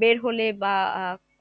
বের হলে বা আহ